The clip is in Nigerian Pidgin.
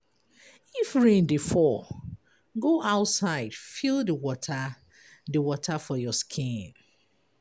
If rain dey fall, go outside feel di water for your skin.